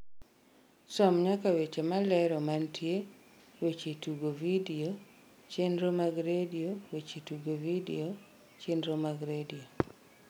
som nyaka weche malero mantie weche tugo vidio chenro mag redio weche tugo vidio chenro mag redio